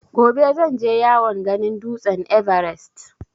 Gobe zan je yawon ganin dutsen ''Everest''.